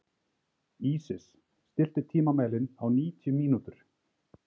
Ísis, stilltu tímamælinn á níutíu mínútur.